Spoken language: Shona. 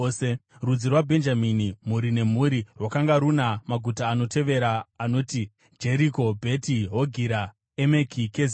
Rudzi rwaBhenjamini, mhuri nemhuri, rwakanga runa maguta anotevera anoti: Jeriko, Bheti Hogira, Emeki Kezizi,